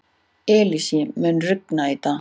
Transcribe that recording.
Elsie, mun rigna í dag?